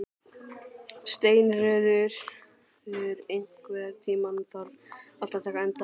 Steinröður, einhvern tímann þarf allt að taka enda.